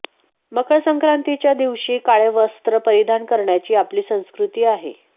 मकर संक्रातीच्या दिवशी काळे वस्त्र परिधान करण्याची आपली संस्कृती आहे